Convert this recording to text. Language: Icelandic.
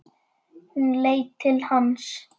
Hún leit til hans.